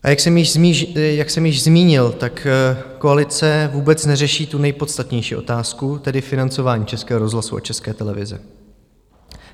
A jak jsem již zmínil, tak koalice vůbec neřeší tu nejpodstatnější otázku, tedy financování Českého rozhlasu a České televize.